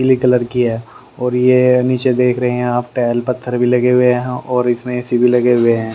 पीली कलर की है और ये नीचे देख रहे है यहां टैल पत्थर भी लगे हुए हैं और इसमें ए_सी भी लगे हुए हैं।